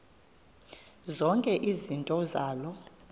zonke izinto zaloo